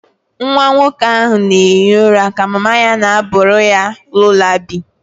Nwa nwoke ahụ na-ehi ụra ka mama ya na-abụ ya lullaby